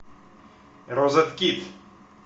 розеткид